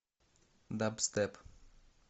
дабстеп